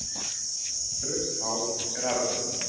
Rautt hár er arfgengt.